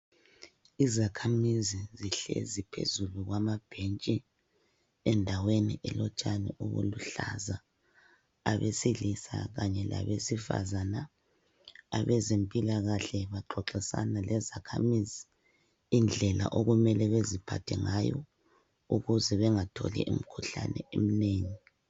Izakhamizi zihlezi phezulu kwamabhentshi endaweni elotshani obuluhlaza abesilisa kanye labesifazana abezempilakahle baxoxisana lezakhamizi indlela okumele beziphathe ngayo ukuze bengatholi imikhuhlane eminengi